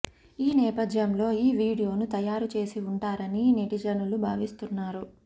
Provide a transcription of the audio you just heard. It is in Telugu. ఈ నేపథ్యంలో ఈ వీడియోను తయారు చేసి ఉంటారని నెటిజనులు భావిస్తున్నారు